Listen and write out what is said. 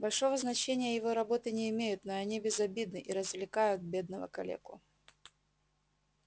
большого значения его работы не имеют но они безобидны и развлекают бедного калеку